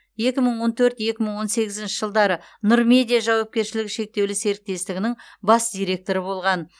екі мың он төрт екі мың он сегізінші жылдары нұр медиа жауапкершілігі шектеулі серіктестігінің бас директоры болған